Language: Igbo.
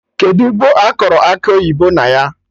Kedụ ugbo akọrọ Akị oyibo na ya?